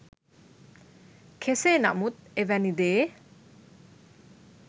කෙසේ නමුත් එවැනි දේ